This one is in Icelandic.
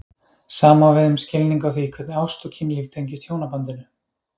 Sama á við um skilning á því hvernig ást og kynlíf tengist hjónabandinu.